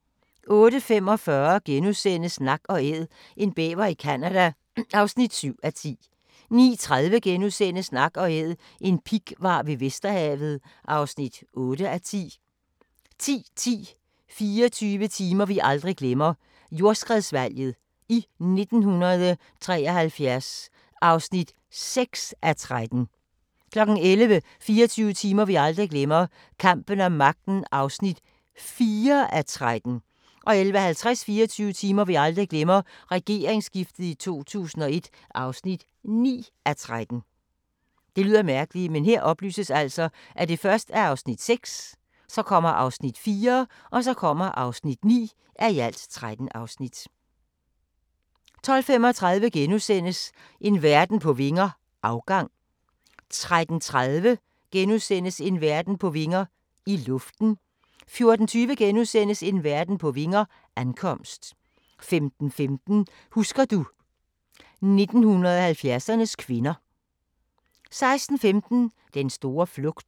08:45: Nak & Æd – en bæver i Canada (7:10)* 09:30: Nak & Æd – en pighvar ved Vesterhavet (8:10)* 10:10: 24 timer vi aldrig glemmer - Jordskredsvalget i 1973 (6:13) 11:00: 24 timer vi aldrig glemmer – Kampen om magten (4:13) 11:50: 24 timer vi aldrig glemmer - Regeringsskiftet i 2001 (9:13) 12:35: En verden på vinger - afgang * 13:30: En verden på vinger – i luften * 14:20: En verden på vinger – ankomst * 15:15: Husker du ... 1970'ernes kvinder 16:15: Den store flugt